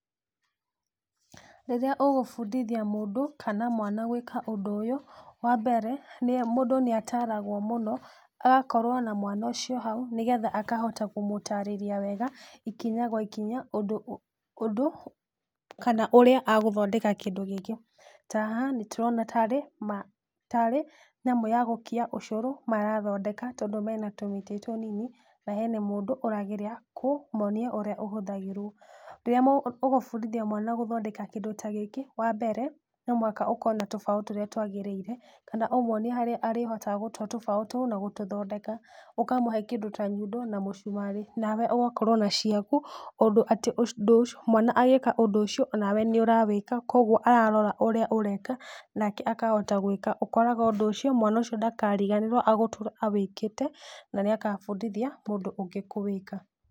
Rĩrĩa ũgũbundithia mũndũ kana mwana gwĩka ũndũ ũyũ, wambere, nĩye mũndũ nĩataragwo mũno, agakorwo na mwana ũcio hau nĩgetha akahota kũmũtarĩria wega, ikinya gwa ikinya ũndũ ũ ũndũ, kana ũrĩa agũthondeka kĩndũ gĩkĩ, ta haha nĩtũrona tarĩ ma, tarĩ nyamũ ya gũkia ũcũrũ marathondeka, tondũ mena tũmĩtĩ tũnini, na hena mũdũ ũrageria kũ monia ũrĩa ũhũthagĩrwo, rĩrĩa mũ ũgũbundithia mwana gũthondeka kĩndũ ta gĩkĩ, wambere, nomũhaka ũkorwo na tũbaũ tũrĩa twagĩrĩire, kana ũmwonie harĩa arĩhotaga gũtua tũbaũ tũu na gũtũthondeka, ũkamũhe kĩndũ ta nyundo na mũcumarĩ, nawe ũgakorwo na ciaku, ũndũ atĩ ci mwana agĩka ũndũ ũcio, nawe nĩũrawĩka, koguo ararora ũrĩa ũrawĩka, nake akahota gwĩka, ũkoraga ũndũ ũcio, mwana ũcio ndakariganĩrwo agũtũra awĩkĩte na nĩakabundithia mũndũ ũngĩ kũwĩka.